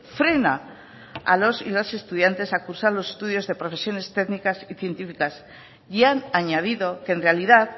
frena a los y las estudiantes a cursar los estudios de profesiones técnicas y científicas y han añadido que en realidad